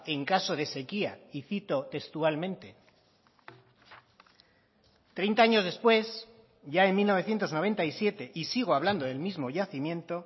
en caso de sequía y cito textualmente treinta años después ya en mil novecientos noventa y siete y sigo hablando del mismo yacimiento